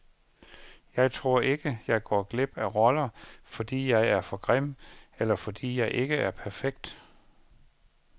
Jeg tror ikke, jeg går glip af roller, fordi jeg er for grim, eller fordi jeg ikke er perfekt.